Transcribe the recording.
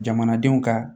Jamanadenw ka